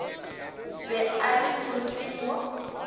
be a le moriting wo